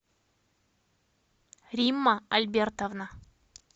римма альбертовна